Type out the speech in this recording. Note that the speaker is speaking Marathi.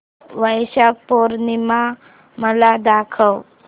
वैशाख पूर्णिमा मला दाखव